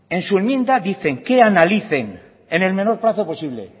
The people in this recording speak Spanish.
en su enmienda dicen que analicen en el menor plazo posible